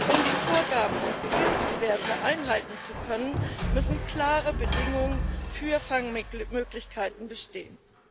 Um die Vorgaben und Zielwerte einhalten zu können, müssen klare Bedingungen für Fangmöglichkeiten bestehen.